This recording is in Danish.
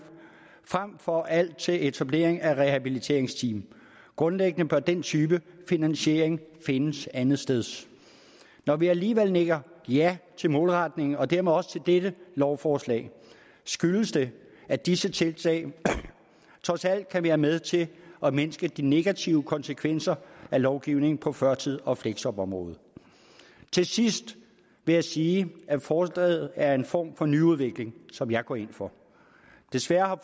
frem for at bruge alt til etablering af rehabiliteringsteam grundlæggende bør den type finansiering findes andetsteds når vi alligevel nikker ja til målretningen og dermed også til dette lovforslag skyldes det at disse tiltag trods alt kan være med til at mindske de negative konsekvenser af lovgivningen på førtids og fleksjobområdet til sidst vil jeg sige at forslaget er en form for nyudvikling som jeg går ind for desværre